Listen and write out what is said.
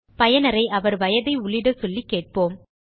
பயனரை அவர் வயதை உள்ளிடச் சொல்லி கேட்போம்